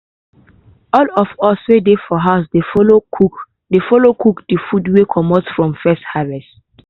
all of us wey dey for house dey follow cook dey follow cook de food wey comot from first harvest.